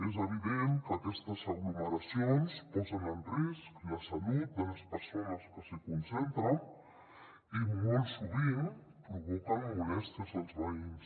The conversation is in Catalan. és evident que aquestes aglomeracions posen en risc la salut de les persones que s’hi concentren i molt sovint provoquen molèsties als veïns